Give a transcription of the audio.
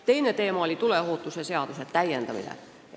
Teine teema oli tuleohutuse seaduse täiendamine.